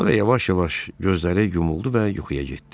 Sonra yavaş-yavaş gözləri yumuldu və yuxuya getdi.